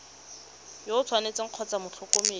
yo o tshwanetseng kgotsa motlhokomedi